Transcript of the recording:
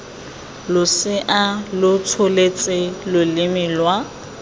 losea lo tsholetse loleme lwa